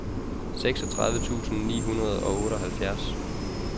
seksogtredive tusind ni hundrede og otteoghalvfjerds